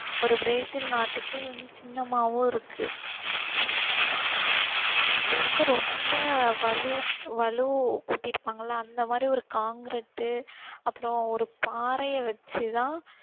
ஒரு பிரேசில் நாட்டுக்கு இது வந்து சின்னமாவும் இருக்கு. இது வந்து ரொம்ப வலு~ வலுவூட்டி இருப்பாங்கல்ல அந்த மாதிரி ஒரு concrete அப்பறம் ஒரு பாறையை வச்சு தான்